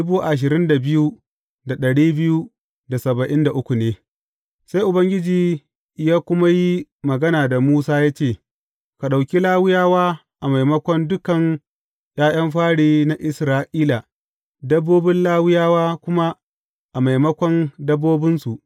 Sai Ubangiji ya kuma yi magana da Musa ya ce, Ka ɗauki Lawiyawa a maimakon dukan ’ya’yan fari na Isra’ila, dabbobin Lawiyawa kuma a maimakon dabbobinsu.